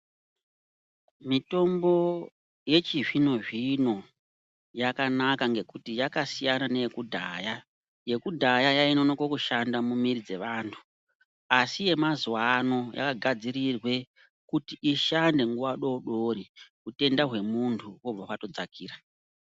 Mitombo yechizvino zvino yakanaka ngekuti yakasiyana neye kudhaya yekudhaya yainonoke kushanda mumiri dzeantu asi yemazuwano yakagadzirirwe kuti ishande nguwa doodori hutenda hwemuntu hobva watodzakira.